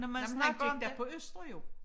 Nej men han gik da på Østre jo